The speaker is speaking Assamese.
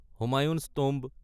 হুমায়ুন'চ টম্ব